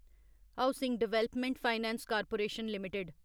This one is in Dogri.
housing development finance corporation limited